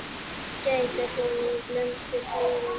Gæta þín í blundi blíðum.